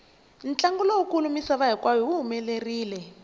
ntlangu lowu kulu misava hinkwayo wu humelerile